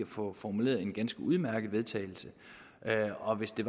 få formuleret et ganske udmærket vedtagelse og hvis det